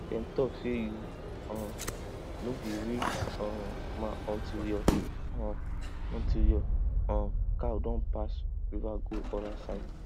dem talk say you um no be real um man until your um until your um cow don pass river go other side